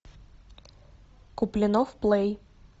куплинов плей